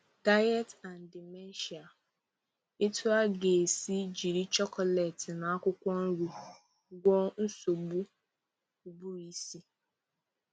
Diet and Dementia: Etu ị ga-esi jiri chocolate na akwụkwọ nri gwọ́ọ́ nsogbu ụbụrụisi